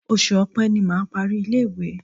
Oṣù Ọpẹ́ ni mà á parí ilé-ìwé.